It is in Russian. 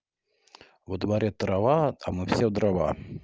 во дворе трава атомы всех дрова